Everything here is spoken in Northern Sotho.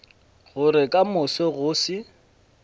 gore ka moso go se